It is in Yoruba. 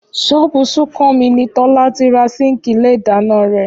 Ṣọ́ọ̀bù Súnkànmí ni Tọ́lá ti ra síǹkì ilé ìdáná rẹ̀